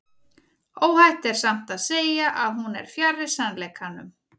Óhætt er samt að segja að hún er fjarri sannleikanum.